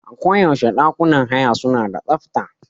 Aku yaushe ɗakunan haya suna da tsafta.